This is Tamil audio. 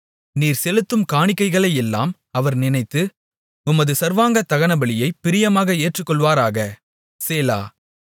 நீர் செலுத்தும் காணிக்கைகளையெல்லாம் அவர் நினைத்து உமது சர்வாங்க தகனபலியைப் பிரியமாக ஏற்றுக்கொள்வாராக சேலா